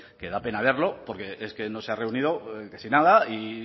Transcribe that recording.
que da pena verlo porque es que no se ha reunido casi nada y